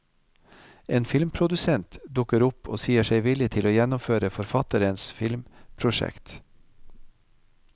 En filmprodusent dukker opp og sier seg villig til å gjennomføre forfatterens filmprosjekt.